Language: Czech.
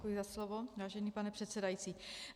Děkuji za slovo, vážený pane předsedající.